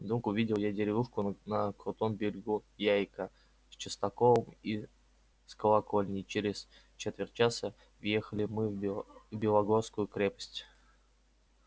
вдруг увидел я деревушку на крутом берегу яика с частоколом и с колокольней и через четверть часа въехали мы в белогорскую крепость